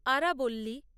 আরাবল্লী